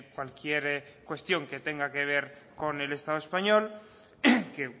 cualquier cuestión que tenga que ver con el estado español que